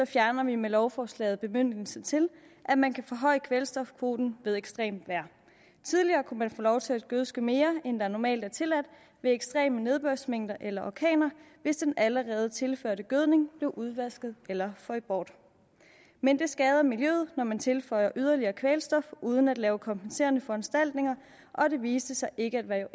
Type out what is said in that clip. fjerner vi med lovforslaget bemyndigelsen til at man kan forhøje kvælstofkvoten ved ekstremt vejr tidligere kunne man få lov til at gødske mere end det normalt er tilladt ved ekstreme nedbørsmængder eller orkaner hvis den allerede tilførte gødning blev udvasket eller fløj bort men det skader miljøet når man tilfører yderligere kvælstof uden at lave kompenserende foranstaltninger og det viste sig ikke at være